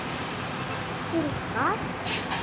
Vestur á hvað?